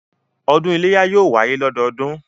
Ọdún iléyá yóò wáyé lọ́dọọdún